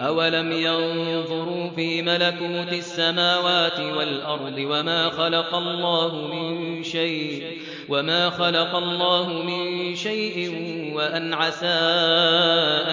أَوَلَمْ يَنظُرُوا فِي مَلَكُوتِ السَّمَاوَاتِ وَالْأَرْضِ وَمَا خَلَقَ اللَّهُ مِن شَيْءٍ وَأَنْ عَسَىٰ